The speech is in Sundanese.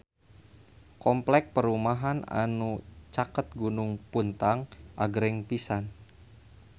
Kompleks perumahan anu caket Gunung Puntang agreng pisan